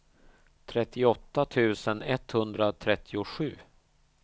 trettioåtta tusen etthundratrettiosju